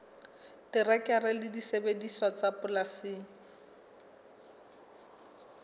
terekere le disebediswa tsa polasing